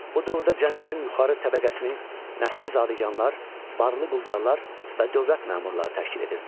Bu dövrdə cəmiyyətin yuxarı təbəqəsini nəsli zadəganlar, varlı quldarlar və dövlət məmurları təşkil edirdi.